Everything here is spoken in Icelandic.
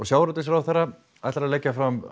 sjávarútvegsráðherra ætlar að leggja fram